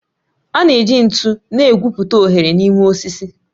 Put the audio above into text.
A na-eji ntu na-egwupụta oghere n'ime osisi